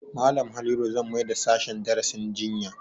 Malam Halliru zan maida sashen darasin jinya